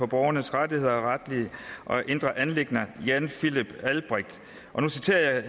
borgernes rettigheder og retlige og indre anliggender jan philipp albrecht og nu citerer jeg